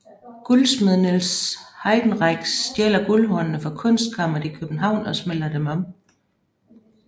Guldsmed Niels Heidenreich stjæler Guldhornene fra Kunstkammeret i København og smelter dem om